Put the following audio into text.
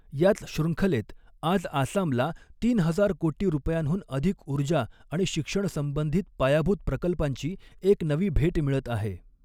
याच शृंखलेत आज आसामला तीन हजार कोटी रुपयांहून अधिक ऊर्जा आणि शिक्षण संबंधित पायाभूत प्रकल्पांची एक नवी भेट मिळत आहे.